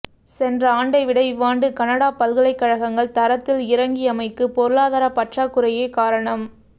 சென்ற ஆண்டை விட இவ்வாண்டு கனடா பல்கலைக்கழகங்கள் தரத்தில் இரங்கியமைக்கு பொருளாதார பற்றாக் குறையே காரணம்